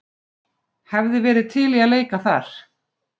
Hefði verið til í að leika þar.